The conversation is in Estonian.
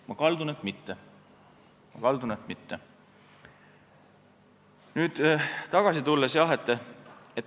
Ma kaldun arvama, et mitte.